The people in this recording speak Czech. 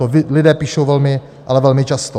- To lidé píšou velmi, ale velmi, často.